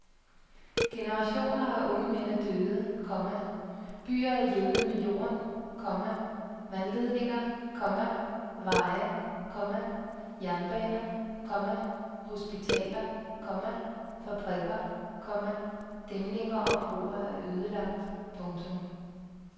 Generationer af unge mænd er døde, komma byer jævnet med jorden, komma vandledninger, komma veje, komma jernbaner, komma hospitaler, komma fabrikker, komma dæmninger og broer er ødelagt. punktum